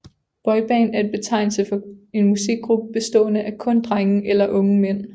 Boyband er betegnelse for en musikgruppe bestående af kun drenge eller unge mænd